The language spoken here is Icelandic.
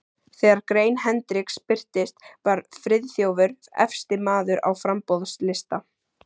Þegar grein Hendriks birtist, var Friðþjófur efsti maður á framboðslista